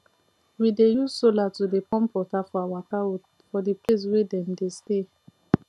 we dey use sola to dey pump water for our cow for the place wey dem dey stay